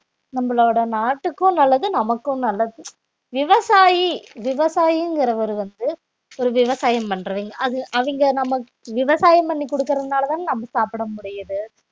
நம்மளோட நாட்டுக்கும் நல்லது நமக்கும் நல்லது விவசாயி விவசாயிங்கறவர் வந்து ஒரு விவசாயம் பண்றவங்க அது அவிங்க நம்ம விவசாயம் பண்ணி குடுக்கறதுனாலதான் நம்ம சாப்பிட முடியுது